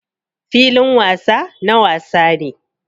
Filin wasa na wasa ne.